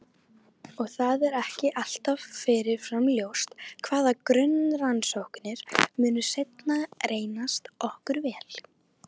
Og það er ekki alltaf fyrirfram ljóst hvaða grunnrannsóknir munu seinna reynast okkur vel.